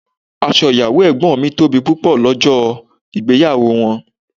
Aṣọ ìyàwó ẹ̀gbọ́n mi tóbi pupọ lọ́jọ́ ìgbéyàwó wọn.